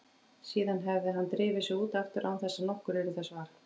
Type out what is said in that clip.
Síðan hefði hann drifið sig út aftur án þess að nokkur yrði þessa var.